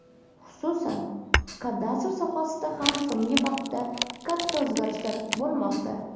Xususan, kadastr sohasida ham so‘ngi vaqtda katta o‘zgarishlar bo‘lmoqda.